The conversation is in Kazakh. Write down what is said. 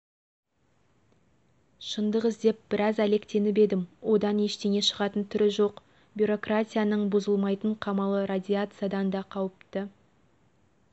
шындық іздеп біраз әлектеніп едім одан ештеңе шығатын түрі жоқ бюрократияның бұзылмайтын қамалы радиациядан да қауіпті